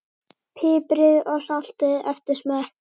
Piprið og saltið eftir smekk.